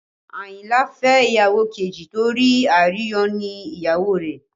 Àyìnlá fẹ́ ìyàwó kejì torí àìróyúnní ìyàwó rẹ̀